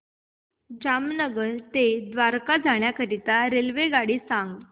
जामनगर ते द्वारका जाण्याकरीता रेल्वेगाडी सांग